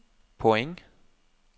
point